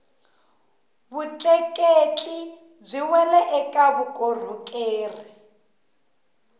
vutleketli byi wela eka vukorhokeri